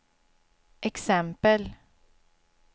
exempel